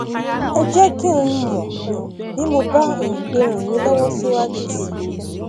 ẹ jẹ kí n mọ um bí mo bá um lè ràn yín lọwọ síwájú sí i